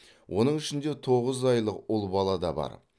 оның ішінде тоғыз айлық ұл бала да бар